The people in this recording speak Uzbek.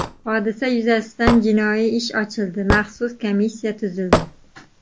Hodisa yuzasidan jinoiy ish ochildi, maxsus komissiya tuzildi.